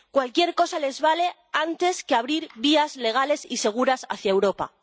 Cualquier cosa les vale antes que abrir vías legales y seguras hacia Europa.